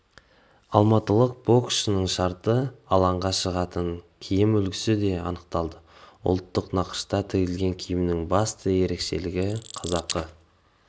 алматылық боксшының шарты алаңға шығатын киім үлгісі де анықталды ұлттық нақышта тігілген киімнің басты ерекшелігі қазақы